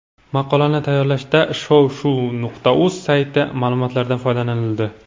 Maqolani tayyorlashda shov-shuv.uz sayti ma’lumotlaridan foydalanildi.